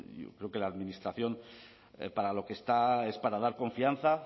creo que la administración para lo que está es para dar confianza